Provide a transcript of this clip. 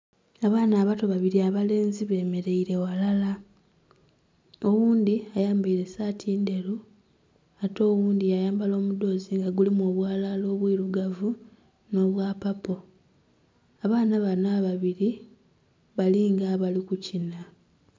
Abaana abato babiri abelenzi bemereire ghalala, oghundhi ayambaire saati ndheru ate oghundhi ya yambala omudhoozi nga gulimu obwalala obwirugavu nh'obwa papo. Abaana banho ababiri bali nga abali kukinha.